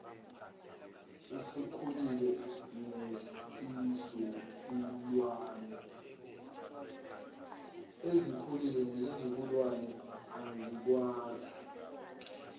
ezikhulile nezizukulwane angikwazi